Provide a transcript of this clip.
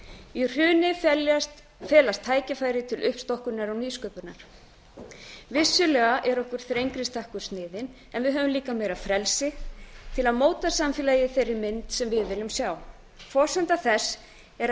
í hruni felast tækifæri til uppstokkunar og nýsköpunar vissulega er okkur þrengri stakkur sniðinn en við höfum líka meira frelsi til að móta samfélagið í þeirri mynd sem við viljum sjá forsenda þess er að